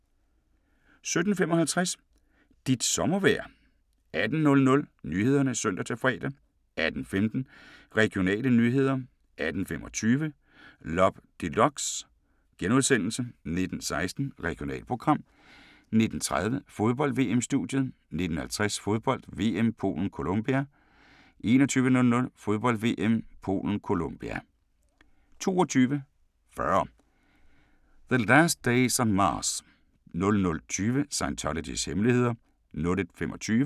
17:55: Dit sommervejr 18:00: Nyhederne (søn-fre) 18:15: Regionale nyheder 18:25: Loppe Deluxe * 19:16: Regionalprogram 19:30: Fodbold: VM-studiet 19:50: Fodbold: VM - Polen-Colombia 21:00: Fodbold: VM - Polen-Colombia 22:40: The Last Days on Mars 00:20: Scientologys hemmeligheder